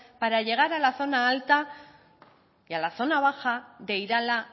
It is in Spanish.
para llegar a la zona alta y a la zona baja de irala